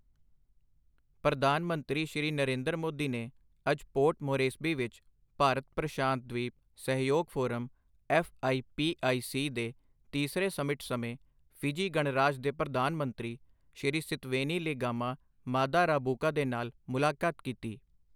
ਪ੍ਰਧਾਨ ਮੰਤਰੀ ਸ਼੍ਰੀ ਨਰਿੰਦਰ ਮੋਦੀ ਨੇ ਅੱਜ ਪੋਰਟ ਮੋਰੇਸਬੀ ਵਿੱਚ ਭਾਰਤ ਪ੍ਰਸ਼ਾਂਤ ਦ੍ਵੀਪ ਸਹਿਯੋਗ forum F I P I C ਦੇ ਤੀਸਰੇ ਸਮਿਟ ਸਮੇਂ ਫਿਜੀ ਗਣਰਾਜ ਦੇ ਪ੍ਰਧਾਨ ਮੰਤਰੀ ਸ਼੍ਰੀ ਸਿਤਵੇਨੀ ਲਿਗਾਮਾ-ਮਾਦਾ ਰਾਬੁਕਾ ਦੇ ਨਾਲ ਮੁਲਾਕਾਤ ਕੀਤੀ।